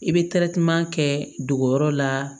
I bɛ kɛ dogoyɔrɔ la